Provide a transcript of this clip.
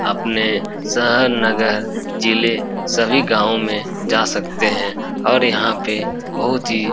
अपने शहर नगर जिले सभी गावों में जा सकते है और यहां पे बहुत ही --